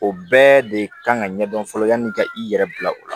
O bɛɛ de kan ka ɲɛdɔn fɔlɔ yanni ka i yɛrɛ bila o la